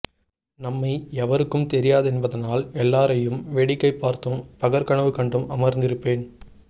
நம்மை எவருக்கும் தெரியாதென்பதனால் எல்லாரையும் வேடிக்கை பார்த்தும் பகற்கனவு கண்டும் அமர்ந்திருப்பேன்